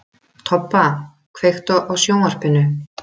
Tobba, kveiktu á sjónvarpinu.